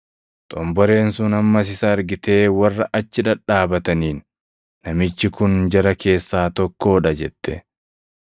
Xomboreen sun ammas isa argitee warra achi dhadhaabataniin, “Namichi kun jara keessaa tokkoo dha” jette.